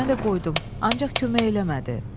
Mən də qoydum, ancaq kömək eləmədi.